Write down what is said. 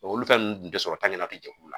olu fɛn ninnu tɛ sɔrɔ jɛkulu la